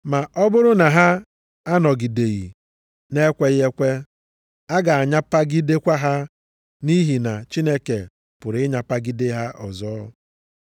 Ma ọ bụrụ na ha anọgideghị na-ekweghị ekwe, a ga-anyapagidekwa ha nʼihi na Chineke pụrụ ịnyapagide ha ọzọ.